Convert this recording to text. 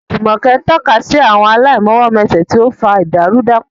Jumoke tọ́ka sí àwọn aláìmọwọ́mẹsẹ̀, tí ó ń fa ìdàrúdàpọ̀.